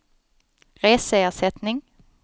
reseersättning